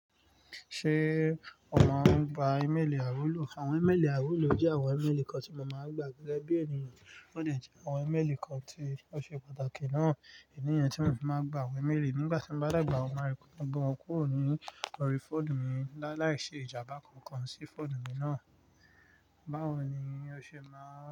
Ṣé o máa ń gba ímélì àròló? Àwọn ímélì àiwuló jẹ́ àwọn ímélì kan tí mo máa ń gba gẹ́gẹ́ bí ènìyàn, wón dẹ̀ jẹ́ àwọn ímélì kan tí ó ṣe pàtàkì náà. Ìdí leyi tí mo fi máa ń gba àwọn ímélì nígbà tí ń bá dàgbà, ó máa ń rí pé bí wọ́n kúrò ní orí fóònù mi, láàláì ṣe ìjàmbá kankan sí fóònù mi náà. Báwo ni o ṣe máa ń.